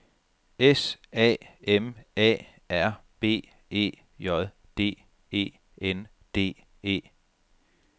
S A M A R B E J D E N D E